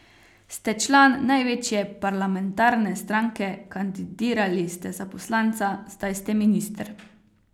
Ste član največje parlamentarne stranke, kandidirali ste za poslanca, zdaj ste minister.